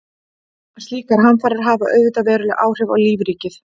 Slíkar hamfarir hafa auðvitað veruleg áhrif á lífríkið.